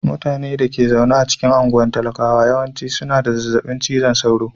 Mutanen da ke zaune a anguwan talakawa yawanci suna da zazzabin cizon sauro.